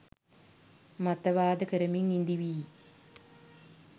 මතවාද කරමින් ඉදීවි